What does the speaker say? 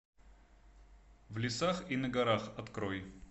в лесах и на горах открой